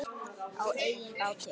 Á eigin báti.